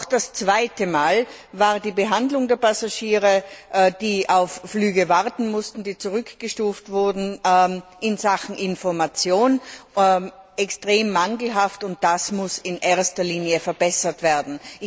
Auch das zweite Mal war die Behandlung der Passagiere, die auf Flüge warten mussten, die zurückgestuft wurden, in Sachen Information extrem mangelhaft, und das muss vorrangig verbessert werden.